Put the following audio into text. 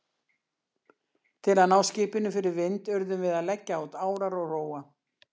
Til að ná skipinu fyrir vind urðum við að leggja út árar og róa.